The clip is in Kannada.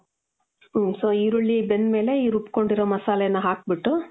ಹ್ಮ್ so ಈರುಳ್ಳಿ ಬೆಂದಮೇಲೆ ಈ ರುಬ್ಕೊಂಡಿರೊ ಮಸಾಲೆ ನ ಹಾಕ್ಬುಟ್ಟು,